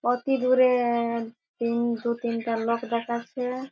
অতি দূরে-এ-এ তিন দু তিনটা লোক দেখাচ্ছে।